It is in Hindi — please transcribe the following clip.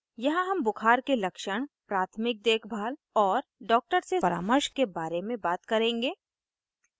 यहाँ हम बुखार के लक्षण प्राथमिक देखभाल और doctor से परामर्श के care में बात करेंगे